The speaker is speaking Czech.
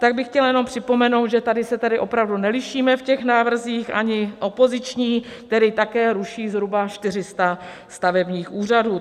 Tak bych chtěla jenom připomenout, že tady se tedy opravdu nelišíme v těch návrzích, ani opoziční, který také ruší zhruba 400 stavebních úřadů.